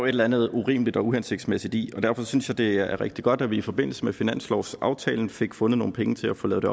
eller andet urimeligt og uhensigtsmæssigt i derfor synes jeg det er rigtig godt at vi i forbindelse med finanslovsaftalen fik fundet nogle penge til at få lavet